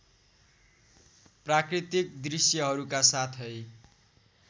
प्राकृतिक दृश्यहरूका साथै